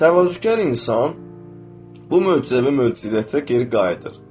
Təvazökar insan bu möcüzəyə möcüzəcə geri qayıdır.